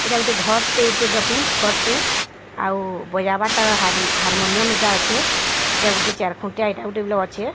ଏଟା ଘର୍ ଟେ ଘର୍ ଟେ ଆଉ ବଜାବଟା ହାର୍ ହାରମନିୟମ୍ ଆଛେ ଏଟାଗୋଟେ ଚାରଖୁଣ୍ଟିଆ ଏଟା ଗୋଟେ ଆଛେ।